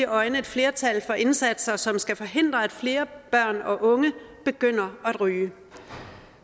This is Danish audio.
øjne et flertal for indsatser som skal forhindre at flere børn og unge begynder at ryge